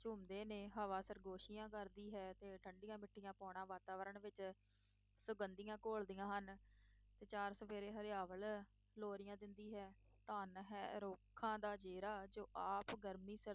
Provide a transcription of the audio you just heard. ਝੂਮਦੇ ਹਨ, ਹਵਾ ਸਰਗੋਸ਼ੀਆਂ ਕਰਦੀ ਹੈ, ਤੇ ਠੰਢੀਆਂ-ਮਿੱਠੀਆਂ ਪੌਣਾਂ ਵਾਤਾਵਰਨ ਵਿੱਚ ਸੁਗੰਧੀਆਂ ਘੋਲਦੀਆਂ ਹਨ ਤੇ ਚਾਰ-ਚੁਫ਼ੇਰੇ ਹਰਿਆਵਲ ਲੋਰੀਆਂ ਦਿੰਦੀ ਹੈ, ਧਨ ਹੈ ਰੁੱਖਾਂ ਦਾ ਜੇਰਾ ਜੋ ਆਪ ਗਰਮੀ